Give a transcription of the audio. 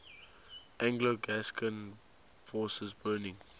anglo gascon forces burning